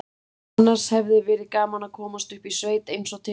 Annars hefði verið gaman að komast upp í sveit eins og til stóð.